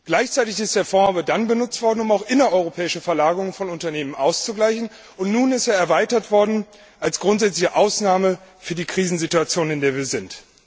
Gleichzeitig ist der Fonds aber dann benutzt worden, um auch innereuropäische Verlagerungen von Unternehmen auszugleichen, und nun ist er erweitert worden als grundsätzliche Ausnahme für die Krisensituation, in der wir sind.